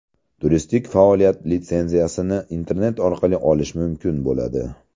Turistik faoliyat litsenziyasini internet orqali olish mumkin bo‘ladi.